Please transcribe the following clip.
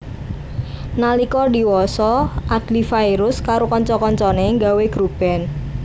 Nalika diwasa Adly Fairuz karo kanca kancané nggawé grup band